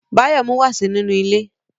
Báyọ̀ mú wàsó nínú ilé